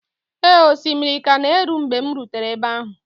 Ee, osimiri ka na-eru mgbe m rutere ebe ahụ